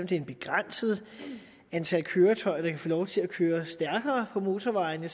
det er et begrænset antal køretøjer der kan få lov til at køre stærkere på motorvejene